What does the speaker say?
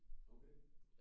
Okay